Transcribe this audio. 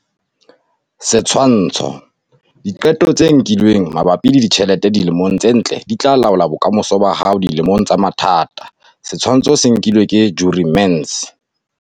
Setshwantsho- Diqeto tse nkilweng mabapi le ditjhelete dilemong tse ntle di tla laola bokamoso ba hao dilemong tsa mathata. Setshwantsho se nkilwe ke Jurie Mentz.